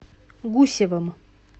гусевым